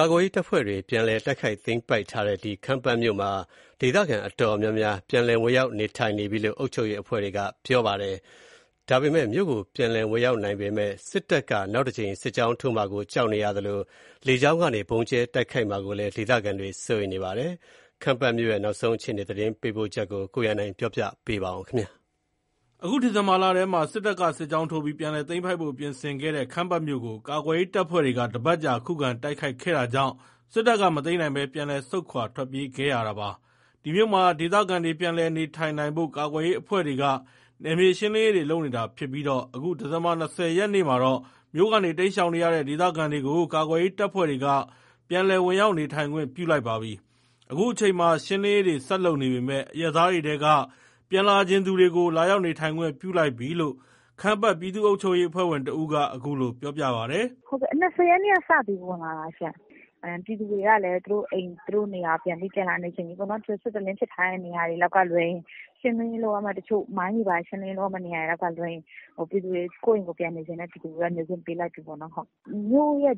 ကာကွယ်ရေးတပ်ဖွဲ့တွေ ပြန်လည်တိုက်ခိုက်သိမ်းပိုက်ထားတဲ့ ခမ်းပတ်မြို့မှာ ဒေသခံတော်တော်များများ ပြန်လည်ဝင်ရောက် နေထိုင်နေပြီလို့ အုပ်ချုပ်ရေးအဖွဲ့တွေက ပြောပါတယ်။ မြို့ကို ပြန်လည်ဝင်ရောက် နိုင်ပေမယ့် စစ်တပ်က နောက်တကြိမ် စစ်ကြောင်းထိုးမှာကို ကြောက်နေရသလို လေကြောင်းကနေ ဗုံးကြဲတိုက်ခိုက်မှာကိုလည်း ဒေသခံတွေ စိုးရိမ်နေပါတယ်။ ခမ်းပတ်မြို့ရဲ့ နောက်ဆုံး အခြေအနေ သတင်းပေးပို့ချက်ကို အခြေခံပြီး ကိုရန်နိုင်က ပြောပြပါမယ်။ အခု ဒီဇင်ဘာလထဲမှာ စစ်တပ်က စစ်ကြောင်းထိုးပြီး ပြန်လည်သိမ်းပိုက်ဖို့ပြင်ဆင်ခဲ့တဲ့ ခမ်းပတ်မြို့ကို ကာကွယ်ရေး တပ်ဖွဲ့တွေက တပတ်ကြာ ခုခံတိုက်ခိုက်ခဲ့တာကြောင့် စစ်တပ်က မသိမ်းနိုင်ပဲ ပြန်လည် ဆုတ်ခွါထွက်ပြေးခဲ့ရတာပါ။ ဒီမြို့မှာ ဒေသခံတွေ ပြန်လည် နေထိုင်နိုင်ဖို့ ကာကွယ်ရေး အဖွဲ့တွေက နယ်မြေရှင်းလင်းရေးတွေ လုပ်နေတာဖြစ်ပြီး အခု ဒီဇင်ဘာ ၂၀ ရက်မှာတော့ မြို့ကနေ တိမ်းရှောင်နေရတဲ့ ဒေသခံတွေကို ကာကွယ်ရေး တပ်ဖွဲ့တွေက ပြန်လည်ဝင်ရောက် နေထိုင်ခွင့်ပြု လိုက်ပါပြီ။ အခုအချိန်မှာ ရှင်းလင်းရေးတွေ ဆက်လုပ်နေပေမယ့် အရပ်သားတွေထဲက ပြန်လာချင်သူတွေကို လာရောက်နေထိုင်ခွင့်ပြု လိုက်ပြီလို့ ခမ်းပတ် ပြည်သူ့အုပ်ချုပ်ရေး အဖွဲ့ဝင်တဦးက အခုလို ပြောပြပါတယ်။ “၂၀ ရက်ကစပြီး ပြန်လည်ဝင်တာ။ ပြည်သူတွေကလည်း သူတို့အိမ် သူတို့နေရာ ပြန်လာနေချင်ကြပြီပေါ့နော်။ စစ်တလင်းဖြစ်ထားတဲ့ နေရာတွေကလွဲရင် မိုင်းတွေဘာတွေ ရှင်းလင်းရေးလုပ်ရမယ့် နေရာတွေကလွဲရင် ကိုယ့်အိမ်ကိုယ် ပြန်နေချင်တဲ့ ပြည်သူတွေကိုတော့ နေခွင့်ပေးလိုက်ပြီပေါ့နော်။ မြို့ရဲ့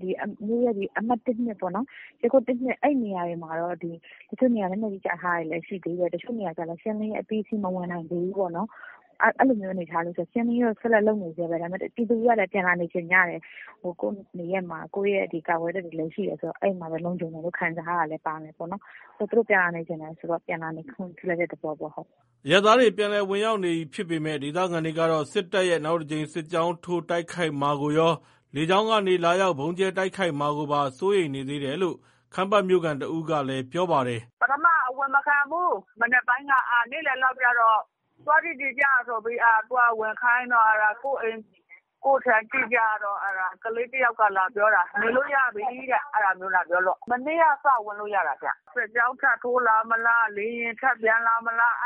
အမှတ် အဲ့နေရာတွေမှာတော့ တချို့နေရာတွေမှာ လက်နက်ကြီးကျထားတာတွေ တချို့နေရာတွေလည်း ရှင်းလင်းရေး အပြီးစီးမဝင်နိုင်သေးဘူး။ အဲ့ဒါကိုရှင်းလင်းရေး ဆက်လက်လုပ်နေဆဲပဲ ဒါပေမယ့် ပြည်သူတွေကလည်း ပြန်လာနေချင်ကြတယ်။ ကိုယ့်နေရပ်မှာ ကိုယ့်ကာကွယ်ရေး တပ်တွေလည်းရှိတယ်ဆိုတော့ အဲ့မှာလုံခြုံတယ်လို့ ခံစားရတာလည်းပါတယ်။ သူတို့ပြန်လာနေချင်တယ်ဆိုတော့ ပြန်လာနေခွင့်ပြုတဲ့ သဘောပေါ့။” အရပ်သားတွေ ပြန်လည်ဝင်ရောက် နေပြီဖြစ်ပေမယ့် ဒေသခံတွေကတော့ စစ်တပ်ရဲ့ နောက်တကြိမ် စစ်ကြောင်းထိုး တိုက်ခိုက်မှာကိုရော၊ လေကြောင်းကနေ လာရောက် ဗုံးကြဲတိုက်ခိုက်မှာကိုပါ စိုးရိမ်နေသေးတယ်လို့ ခမ်းပတ်မြို့ခံတဦးကလည်း ပြောပါတယ်။ “ပထမ အဝင်မခံဘူး၊ နေ့လည်လောက်ကြတော့ သွားကြည့်ချင်ကြတော့ ဝင်ခိုင်းတော့ ကိုယ့်အိမ်၊ ကိုယ့်ခြံ ကြည့်ကြတော့ ကလေး တယောက်က လာပြောတာ ဝင်လို့ရပြီလို့ အဲ့လိုလာပြောလို့ မနေ့က စဝင်လို့ရတာ။ စစ်ကြောင်း ထပ်ထိုးလာမလား လေယာဉ်ထပ်ပျံလာမလား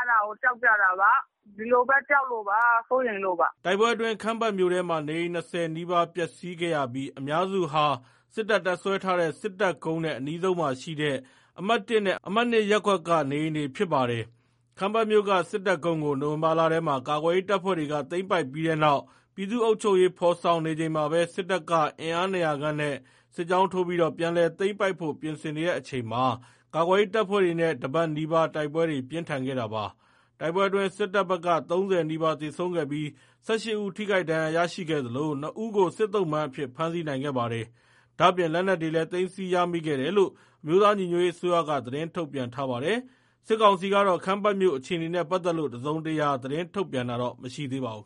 ကြောက်လို့ပေါ့။ ဒီလိုပဲ ကြောက်လို့ပေါ့ စိုးရိမ်လို့ပေါ့။” တိုက်ပွဲအတွင်း ခမ်းပတ်မြို့ထဲမှာ နေအိမ် ၂၀ နီးပါး ပျက်စီးခဲ့ရပြီး အများစုဟာ စစ်တပ် တပ်စွဲထားတဲ့ စစ်တပ်ကုန်းနဲ့ အနီးဆုံးမှာရှိတဲ့ အမှတ် နဲ့ အမှတ် ရပ်ကွက်က နေအိမ်တွေဖြစ်ပါတယ်။ ခမ်းပတ်မြို့က စစ်တပ်ကုန်းကို နိုဝင်ဘာလထဲမှာ ကာကွယ်ရေး တပ်ဖွဲ့တွေက သိမ်းပိုက်ပြီးတဲ့နောက် ပြည်သူ့အုပ်ချုပ်ရေး ဖော်ဆောင်နေချိန်မှာပဲ စစ်တပ်က အင်အား ၂၀၀ ခန့်နဲ့ စစ်ကြောင်းထိုးပြီး ပြန်လည် သိမ်းပိုက်ဖို့ ပြင်ဆင်တဲ့အချိန်မှာ ကာကွယ်ရေး တပ်ဖွဲ့တွေနဲ့ ၁ ပတ်နီးပါး တိုက်ပွဲတွေ ပြင်းထန်ခဲ့တာပါ။ တိုက်ပွဲအတွင်း စစ်တပ်ဘက်က ၃၀ နီးပါး သေဆုံးခဲ့ပြီး ၁၈ ဦး ထိခိုက်ဒဏ်ရာ ရရှိခဲ့သလို ၂ ဦးကို စစ်သုံ့ပန်းအဖြစ် ဖမ်းဆီးနိုင်ခဲ့ပါတယ်။ ဒါ့အပြင် လက်နက်တွေလည်း သိမ်းဆည်းရမိခဲ့တယ်လို့ အမျိုးသားညီညွတ်ရေး အစိုးရက သတင်း ထုတ်ပြန်ထားပါတယ်။ စစ်ကောင်စီကတော့ ခမ်းပတ်မြို့ အခြေနေနဲ့ ပတ်သက်လို့ တစုံတရာ သတင်းထုတ်ပြန်တာ မရှိသေးပါဘူး။